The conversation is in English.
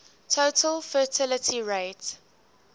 total fertility rate